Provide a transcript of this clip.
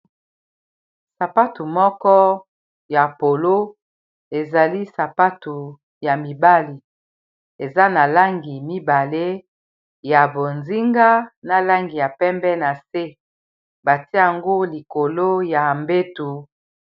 sapatu moko ya polo ezali sapatu ya mibale eza na langi mibale ya bozinga na langi ya pembe na se batiango likolo ya mbetu